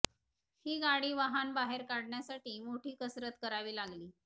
ही गाडी वाहन बाहेर काढण्यासाठी मोठी कसरत करावी लागली